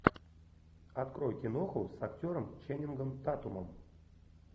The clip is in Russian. открой киноху с актером ченнингом татумом